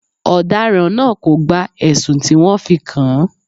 Ọ̀daràn náà kò gba ẹ̀sùn tí wọ́n fi kàn án.